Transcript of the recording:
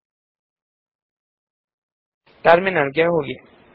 ಈಗ ಟರ್ಮಿನಲ್ ಗೆ ಹೋಗಿ